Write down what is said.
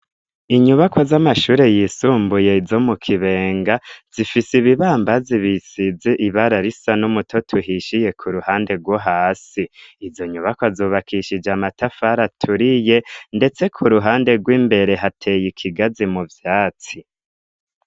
Inyubako z'amashure yisumbuye zo mu Kibenga zifise ibibambazi bisize ibara risa numutoto uhishiye ku ruhande rwo hasi, izo nyubako zubakishije amatafari aturiye ndetse kuruhande rw'imbere hateye ikigazi mu vyatsi.